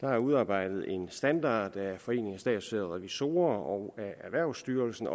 der er udarbejdet en standard af foreningen af statslige revisorer og erhvervsstyrelsen